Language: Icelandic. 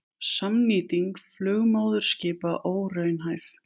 Samnýting flugmóðurskipa óraunhæf